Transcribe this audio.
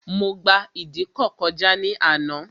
Mo gba ìdíkọ̀ kọjá ní àná